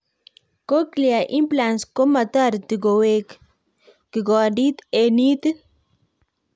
Cochlear implants komatariti koweek kigondit eng itiit